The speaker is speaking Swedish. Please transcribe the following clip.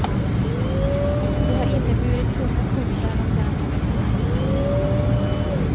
Det har inneburit tunga kokkärl av järn eller emalj.